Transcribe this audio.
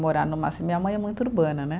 Morar numa ci, minha mãe é muito urbana, né.